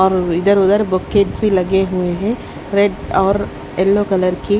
और इधर उधर बुक्के भी लगे हुए हैं रेड और येलो कलर की--